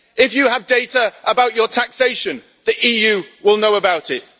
If you have data about your taxation, the EU will know about it.